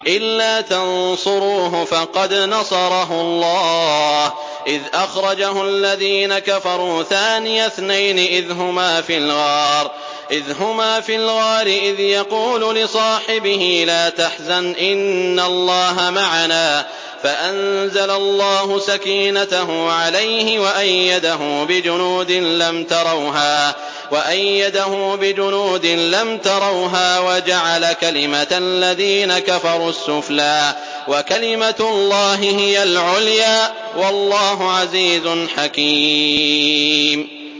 إِلَّا تَنصُرُوهُ فَقَدْ نَصَرَهُ اللَّهُ إِذْ أَخْرَجَهُ الَّذِينَ كَفَرُوا ثَانِيَ اثْنَيْنِ إِذْ هُمَا فِي الْغَارِ إِذْ يَقُولُ لِصَاحِبِهِ لَا تَحْزَنْ إِنَّ اللَّهَ مَعَنَا ۖ فَأَنزَلَ اللَّهُ سَكِينَتَهُ عَلَيْهِ وَأَيَّدَهُ بِجُنُودٍ لَّمْ تَرَوْهَا وَجَعَلَ كَلِمَةَ الَّذِينَ كَفَرُوا السُّفْلَىٰ ۗ وَكَلِمَةُ اللَّهِ هِيَ الْعُلْيَا ۗ وَاللَّهُ عَزِيزٌ حَكِيمٌ